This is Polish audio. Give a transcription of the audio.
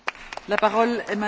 Pani Przewodnicząca!